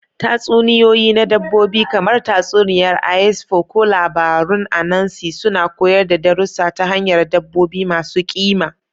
Tatsuniyoyi na dabbobi, kamar tatsuniyar Aesop ko labarun Anansi, suna koyar da darussa ta hanyar dabbobi masu ƙima.